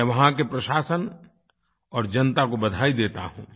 मैं वहाँ के प्रशासन और जनता को बधाई देता हूँ